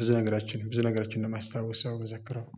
ብዙ ነገሮችን ብዙ ነገሮችን ነው የማስታወስ ያው ምዘክረው።